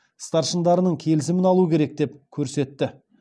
старшындарының келісімін алу керек деп көрсетті